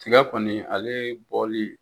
Tiga kɔni ale bɔli